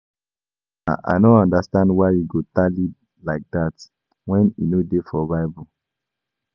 Sir, I no understand why you go tally like dat wen e no dey for bible